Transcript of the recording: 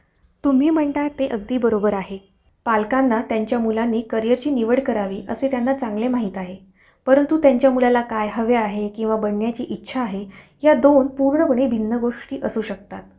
आणि apple चा म्हंटलं तर ते normal वेक्ती पेक्षा खूप costly गेला. तर apple ना घेता. जर oneplus झाल. त्याचा मध्ये खूप apple पेक्षा चांगले features कमी budget मध्ये जास्त चांगले mobile घेऊ शकता. तुम्ही